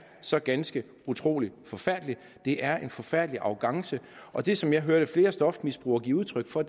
så ganske utrolig forfærdelig det er en forfærdelig arrogance og det som jeg hørte flere stofmisbrugere give udtryk for